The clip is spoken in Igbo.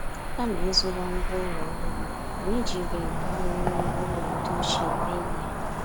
Kama ịzụwa ngwá ụlọ ọhụrụ, anyị jiri ǹkà wéré ngwá ụlọ ndị ochie mee ihe.